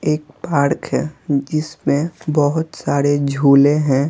एक पार्क है जिसमें बहुत सारे झूले हैं।